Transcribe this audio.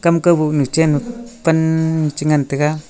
kaboh chen pan chengan taiga.